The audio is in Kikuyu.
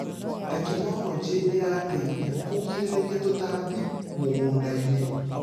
Tekinologĩ ĩrateithia kũgirĩrĩria tũtambi mũgũndainĩ.